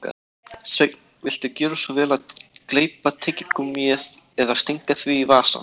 Sveinn, viltu gjöra svo vel að gleypa tyggigúmmíið eða stinga því í vasann